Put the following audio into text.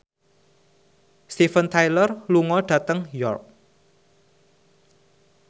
Steven Tyler lunga dhateng York